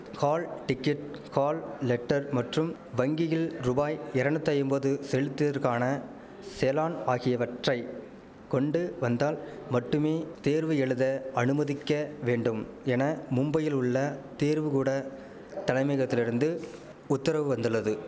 hall ticket hall letter மற்றும் வங்கியில் ருபாய் எரநூத்தைம்பது செலுத்தியற்கான செலான் ஆகியவற்றை கொண்டு வந்தால் மட்டுமே தேர்வு எழுத அனுமதிக்க வேண்டும் என மும்பையில் உள்ள தேர்வு கூட தலைமையகத்திலிருந்து உத்தரவு வந்துள்ளது